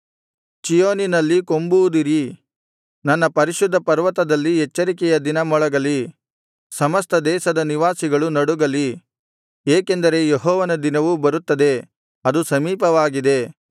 ಚೀಯೋನಿನಲ್ಲಿ ಕೊಂಬೂದಿರಿ ನನ್ನ ಪರಿಶುದ್ಧ ಪರ್ವತದಲ್ಲಿ ಎಚ್ಚರಿಕೆಯ ದಿನ ಮೊಳಗಲಿ ಸಮಸ್ತ ದೇಶದ ನಿವಾಸಿಗಳು ನಡುಗಲಿ ಏಕೆಂದರೆ ಯೆಹೋವನ ದಿನವು ಬರುತ್ತದೆ ಅದು ಸಮೀಪವಾಗಿದೆ